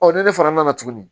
Ɔ ne de fana nana tuguni